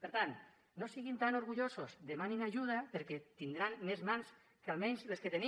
per tant no siguin tan orgullosos demanin ajuda perquè tindran més mans que almenys les que tenen